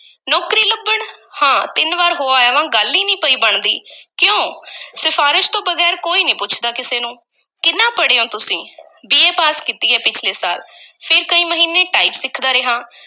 ਨੌਕਰੀ ਲੱਭਣ? ਹਾਂ ਤਿੰਨ ਵਾਰ ਹੋ ਆਇਆ ਵਾਂ, ਗੱਲ ਈ ਨਹੀਂ ਪਈ ਬਣਦੀ ਕਿਉਂ ਸਿਫ਼ਾਰਸ਼ ਤੋਂ ਬਗ਼ੈਰ ਕੋਈ ਨਹੀਂ ਪੁੱਛਦਾ ਕਿਸੇ ਨੂੰ, ਕਿੰਨਾ ਪੜ੍ਹੇ ਹੋਏ ਹੋ ਤੁਸੀਂ BA ਪਾਸ ਕੀਤੀ ਹੈ ਪਿਛਲੇ ਸਾਲ, ਫੇਰ ਕਈ ਮਹੀਨੇ ਟਾਈਪ ਸਿੱਖਦਾ ਰਿਹਾਂ।